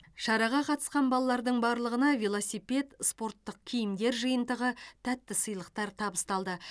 шараға қатысқан балалардың барлығына велосипед спорттық киімдер жиынтығы тәтті сыйлықтар табысталды